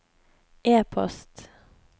e-post